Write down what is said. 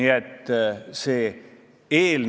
Ma ei arva, et selliseid eelnõusid oleks veel vaja.